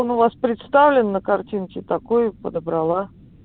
он у вас представлен на картинки такой и подобрала